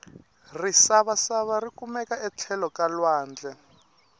risavasava rikumeka etlhelo ka lwandle